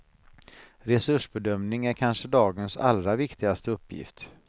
Resursbedömning är kanske dagens allra viktigaste uppgift.